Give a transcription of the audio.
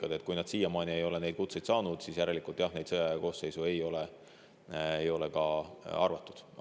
Nii et kui keegi siiamaani ei ole kutset saanud, siis järelikult ei ole teda sõjaaja koosseisu arvatud.